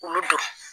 Olu don